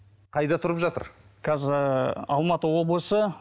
қайда тұрып жатыр қазір ыыы алматы облысы